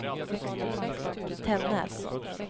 Tännäs